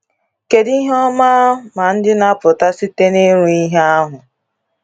Kedu ihe ọma ma ndị na-apụta site n’ịrụ ihe ahụ?